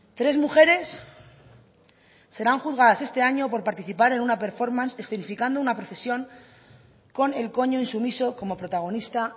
tres mujeres serán juzgadas este año por participar en una performance escenificando una procesión con el coño insumiso como protagonista